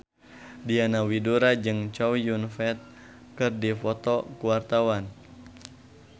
Diana Widoera jeung Chow Yun Fat keur dipoto ku wartawan